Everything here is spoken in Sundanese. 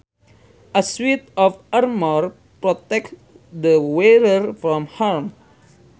A suit of armour protects the wearer from harm